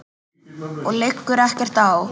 Okkur liggur ekkert á